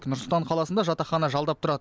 нұр сұлтан қаласында жатақхана жалдап тұрады